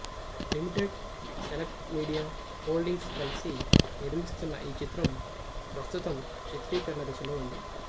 limited select media holdings కలిసి నిర్మిస్తున్న ఈ చిత్రం ప్రస్తుతం చిత్రీకరణ దశలో ఉంది